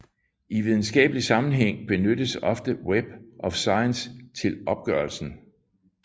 I videnskabelig sammenhæng benyttes ofte Web of Science til opgørelsen